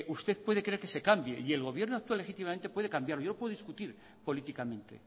usted puede querer que se cambie y el gobierno actual efectivamente puede cambiarlo yo puedo discutir políticamente